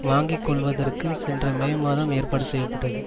வாங்கி கொள்வதற்கு சென்ற மே மாதம் ஏற்பாடு செய்ய பட்டது